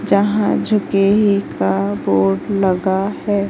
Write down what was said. जहां झुके हित का बोर्ड लगा है।